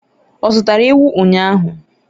ọ zụtara ewu ụnyahụ?